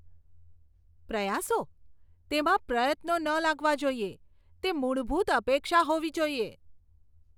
પ્રયાસો? તેમાં પ્રયત્નો ન લાગવા જોઈએ, તે મૂળભૂત અપેક્ષા હોવી જોઈએ.